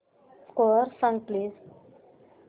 score सांग please